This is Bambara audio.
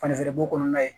Fani bo kɔnɔna ye